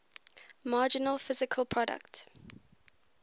marginal physical product